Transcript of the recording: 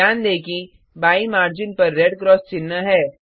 ध्यान दें कि बाईं मार्जिन पर रेड क्रॉस चिह्न है